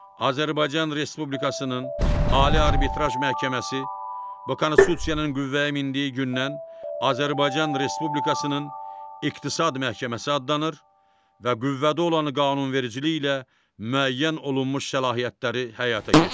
Azərbaycan Respublikasının Ali Arbitraj Məhkəməsi bu Konstitusiyanın qüvvəyə mindiyi gündən Azərbaycan Respublikasının İqtisad Məhkəməsi adlanır və qüvvədə olan qanunvericiliklə müəyyən olunmuş səlahiyyətləri həyata keçirir.